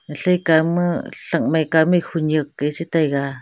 kao ma trankmai kamik hunyak gai chetai ga.